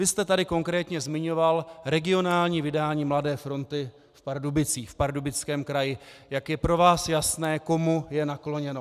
Vy jste tady konkrétně zmiňoval regionální vydání Mladé fronty v Pardubicích, v Pardubickém kraji, jak je pro vás jasné, komu je nakloněno.